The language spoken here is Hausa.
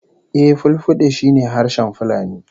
Eh, Fulfulde shi ne harshen Fulani